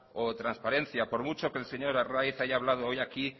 o transparencia por mucho que el señor arraiz haya hablado hoy aquí